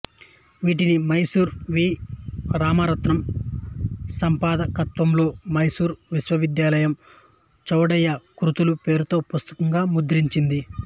వీటిని మైసూరు వి రామరత్నం సంపాదకత్వంలో మైసూరు విశ్వవిద్యాలయం చౌడయ్య కృతులు పేరుతో పుస్తకంగా ముద్రించింది